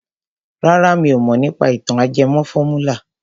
Rárá mi ò mọ̀ nípa ìtàn ajẹmọ fọ́múlà.